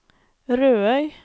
Rødøy